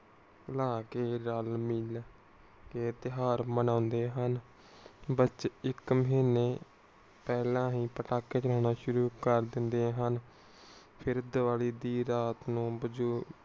ਭੁਲਾ ਕੇ ਰਲ ਮਿਲ ਕੇ ਤਿਯੋਹਾਰ ਮਨੌਂਦੇ ਹਨ। ਬਚੇ ਇਕ ਮਹੀਨਾ ਪਹਿਲਾ ਹੀ ਪਟਾਖੇ ਚਲਾਉਣਾ ਸ਼ੁਰੂ ਕਰ ਦਿੰਦੇ ਹਨ। ਫਿਰ ਦੀਵਾਲੀ ਦੀ ਰਾਤ ਨੂੰ